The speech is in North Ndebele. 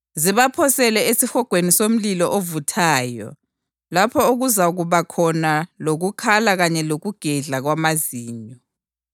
zibaphosele esihogweni somlilo ovuthayo, lapho okuzakuba khona lokukhala kanye lokugedla kwamazinyo.”